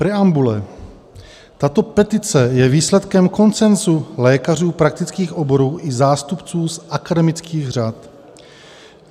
Preambule: Tato petice je výsledkem konsenzu lékařů praktických oborů i zástupců z akademických řad.